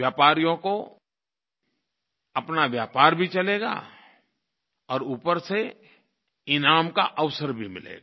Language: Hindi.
व्यापारियों का अपना व्यापार भी चलेगा और ऊपर से ईनाम का अवसर भी मिलेगा